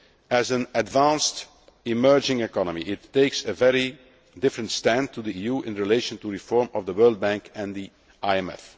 As an advanced emerging economy, it takes a very different stand to the EU in relation to reform of the World Bank and the